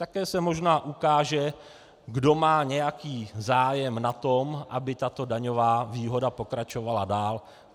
Také se možná ukáže, kdo má nějaký zájem na tom, aby tato daňová výhoda pokračovala dál.